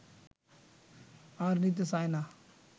আর নিতে চায় না